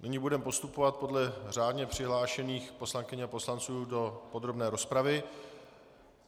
Nyní budeme postupovat podle řádně přihlášených poslankyň a poslanců do podrobné rozpravy.